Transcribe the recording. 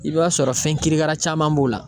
I b'a sɔrɔ fɛn kirikara caman b'o la.